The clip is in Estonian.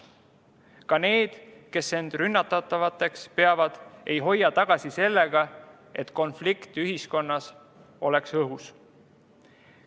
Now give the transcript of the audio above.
Ka need, kes end rünnatavateks peavad, ei hoia tagasi selles, et konflikt oleks ühiskonnas õhus.